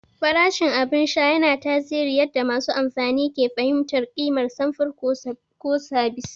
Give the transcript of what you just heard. Farashin abin sha yana tasiri yadda masu amfani ke fahimtar ƙimar samfur ko sabis.